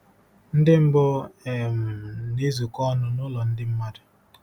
Ndị mbụ um na-ezukọ ọnụ nụlọ ndị mmadụ